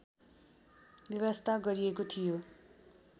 व्यवस्था गरिएको थियो